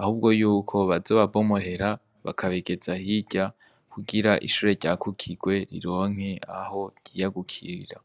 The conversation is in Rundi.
ahubwo yuko bazoba bomorera bakabigiza hirya kugira ishure ryagukirwe rironke aho ryiyagukira.